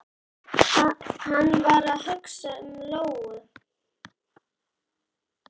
Hann var að hugsa um Lóu.